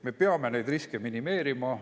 Me peame neid riske minimeerima.